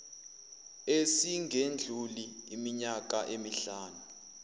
esingedluli iminyaka emihlanu